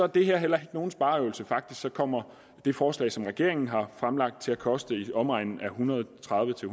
det her heller ikke nogen spareøvelse faktisk kommer det forslag som regeringen har fremlagt til at koste i omegnen af en hundrede og tredive til